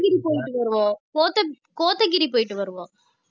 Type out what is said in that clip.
கோத்தகிரி போயிட்டு வருவோம் கோத்~ கோத்தகிரி போயிட்டு வருவோம்